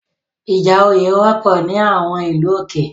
Ìjà òye wọ́pọ̀ ní àwọn ìlú òkè